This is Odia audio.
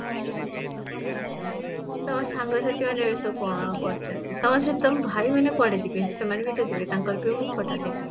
ତମ ସାଙ୍ଗ ସାଥି ମାନେ ଏବେସବୁ କଣ କରୁଛନ୍ତି, ଆଉ ଅଛ ତମ ଭାଇ ମାନେ କୁଆଡେ ଯିବେ, ସେମାନେବି ତ ଯିବେ ତାଙ୍କର ବି ମୁଁ photo ଦେଖେ